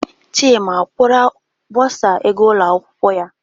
Chima akwụra bursar ego ụlọ akwụkwọ ya?